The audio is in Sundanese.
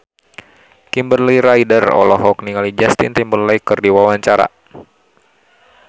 Kimberly Ryder olohok ningali Justin Timberlake keur diwawancara